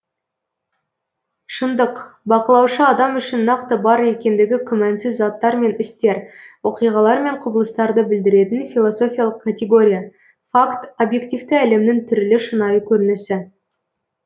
шындық бақылаушы адам үшін нақты бар екендігі күмәнсіз заттар мен істер оқиғалар мен құбылыстарды білдіретін философиялық категория факт объективті әлемнің түрлі шынайы көрінісі